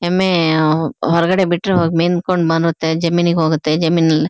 ಎಮ್ಮೆ ಆಹ್ಹ್ಹ್ ಹೊರಗಡೆ ಬಿಟ್ರೆ ಹಾಗ್ ಮೆದ್ಕೊಂಡ್ ಬರುತ್ತೆ ಜಮೀನಿಗೆ ಹೋಗುತ್ತೆ ಜಮೀನ್ ನಾಲ್ --